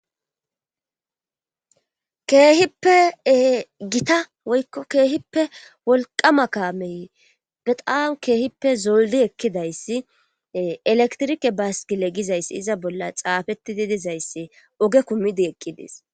Keehippe ee Gita woykko keehippe wolqama kaame bexzam keehippe zolddi eekidayssi ee elektirike beskkile gizayssi iza bolla xaafettidi dizayssi oge kumidi eqqides